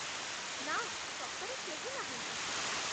ନା, ସତରେ କେହି ନାହାନ୍ତି